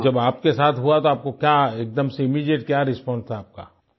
तो जब आपके साथ हुआ तब आपको क्या एकदम से इमीडिएट क्या रिस्पांस था आपका